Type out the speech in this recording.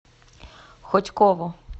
хотьково